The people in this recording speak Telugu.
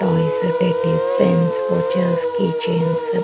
toys teddies pens watches key chains --